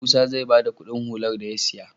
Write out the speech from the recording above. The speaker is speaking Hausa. Musa zai bada Ƙudin hular da ya siya